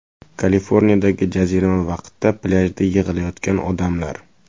Kaliforniyadagi jazirama vaqtida plyajda yig‘ilayotgan odamlar.